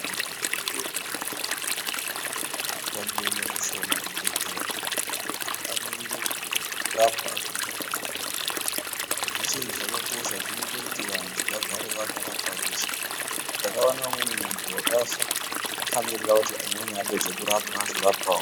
Zvibhedhlera ngazvibeurwe zvakawanda. Ngokuti zvikabeurwa zvishoma zvibhehlera zvinoite kuti muntu amirire kurapwa aguma pachibhehlera zviya. Izvi zveshe izvi zvakakosha zvinoite kuti vantu vagare vakarapwa veshe. Ndakaona umweni muntu wakafa akamirire kuti amweni apedze kurapwa ozorapwawo.